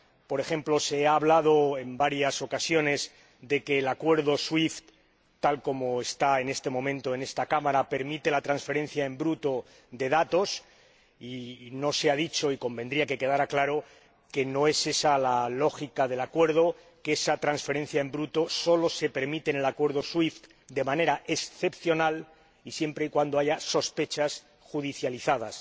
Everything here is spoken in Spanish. Por ejemplo, se ha hablado en varias ocasiones de que el Acuerdo SWIFT, tal como está en este momento en esta Cámara, permite la transferencia en bruto de datos y no se ha dicho, y convendría que quedara claro, que no es esa la lógica del Acuerdo, que esa transferencia en bruto sólo se permite en el Acuerdo SWIFT de manera excepcional y siempre y cuando haya sospechas judicializadas